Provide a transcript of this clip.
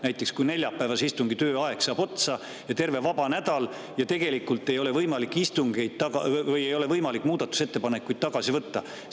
Näiteks kui neljapäevase istungi tööaeg saab otsa ja on terve vaba nädal, kas siis tegelikult ei ole võimalik muudatusettepanekuid tagasi võtta?